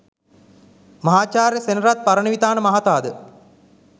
මහාචාර්ය සෙනරත් පරණවිතාන මහතා ද